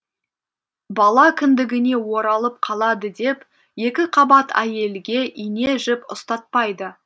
бала кіндігіне оралып қалады деп екіқабат әйелге ине жіп ұстатпайды